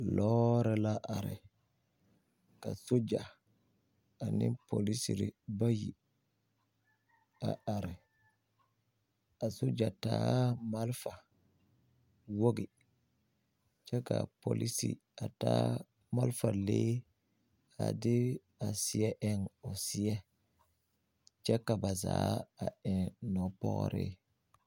Lɔɔre la are ka soɡya ane polisiri bayi a are ka soɡya taa malfa woɡi kyɛ ka a polisi taa malfa lee a de seɛ eŋ o seɛ kyɛ ka ba zaa eŋ nɔpɔɔree.